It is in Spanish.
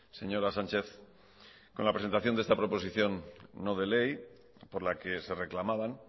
señora sánchez con la presentación de esta proposición no de ley por la que se reclamaban